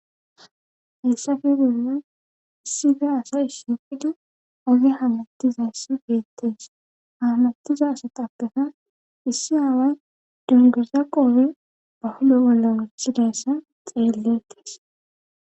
hessafe geemmen issife asay issipidi oge hamattizayssi beettees hamattiza asa tappefa issi haaway dunguza qoobe bahulo olla muchidayssa xeelletees